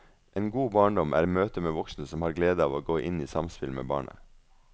En god barndom er møte med voksne som har glede av å gå inn i samspill med barnet.